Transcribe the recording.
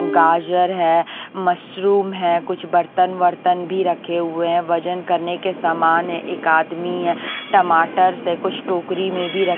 गाजर है मशरूम है कुछ बर्तन वर्तन भी रखे हुए हैं वजन करने के सामान है एक आदमी है टमाटरस से कुछ टोकरी में भी र --